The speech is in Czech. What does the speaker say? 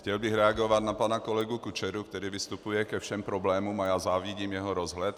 Chtěl bych reagovat na pana kolegu Kučeru, který vystupuje ke všem problémům, a já závidím jeho rozhled.